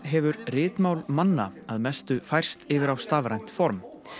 hefur ritmál manna að mestu færst yfir á stafrænt form